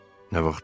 Nə vaxtdan?